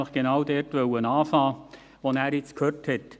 Ich wollte nämlich genau da beginnen, wo er nun aufgehört hat.